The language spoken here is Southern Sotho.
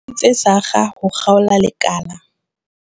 Tse sakga ho kgaola lekala.